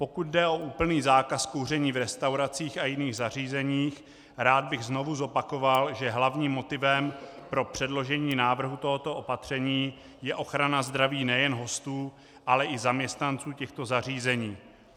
Pokud jde o úplný zákaz kouření v restauracích a jiných zařízeních, rád bych znovu zopakoval, že hlavním motivem pro předložení návrhu tohoto opatření je ochrana zdraví nejen hostů, ale i zaměstnanců těchto zařízení.